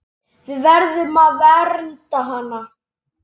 Við verðum að vernda hana.